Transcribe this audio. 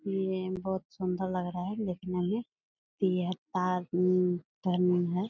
ये बहुत सुन्दर लग रहा है देखने में यह पार्क --